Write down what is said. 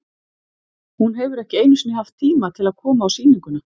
Hún hefur ekki einu sinni haft tíma til að koma á sýninguna.